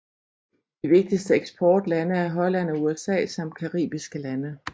De vigtigste eksportlande er Holland og USA samt caribiske lande